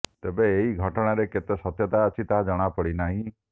ତେବେ ଏହି ଘଟଣାରେ କେତେ ସତ୍ୟତା ଅଛି ତାହା ଜଣା ପଡିନାହିଁ